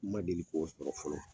N ma deli ko sɔrɔ fɔlɔ